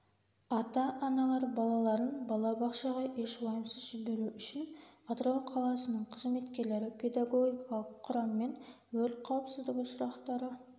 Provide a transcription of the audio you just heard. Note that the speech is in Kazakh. ата-аналар балаларын бала бақшаға еш уайымсыз жіберуі үшін атырау қаласының қызметкерлері педагогикалық құраммен өрт қауіпсіздігі сұрақтары